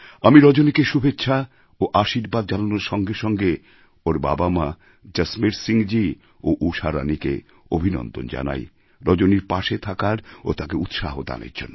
আমি রজনীকে শুভেচ্ছা ও আশীর্বাদ জানানোর সঙ্গে সঙ্গে ওর বাবামা জসমের সিংজী ও ঊষারাণীকে অভিনন্দন জানাই রজনীর পাশে থাকার ও তাকে উৎসাহ দানের জন্য